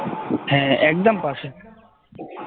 হ্যাঁ একদম পাশে